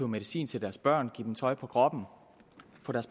medicin til deres børn give dem tøj på kroppen